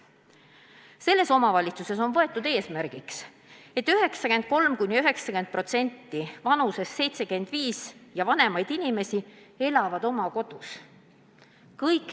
Selles omavalitsuses on võetud eesmärgiks, et 90–93% üle 75 aasta vanuseid inimesi elab oma kodus.